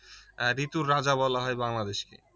আহ ঋতুর রাজা বলা হয় বাংলাদেশকে